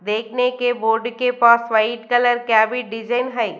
देखने के बोड के पास व्हाइट कलर का भी डिजाइन है।